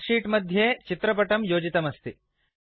spread sheet मध्ये चित्रपटं योजितमस्ति